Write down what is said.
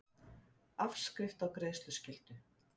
Afskrift á greiðsluskyldu.